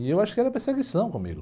E eu acho que era perseguição comigo.